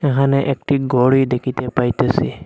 এখানে একটি গড়ি দেখিতে পাইতেসি।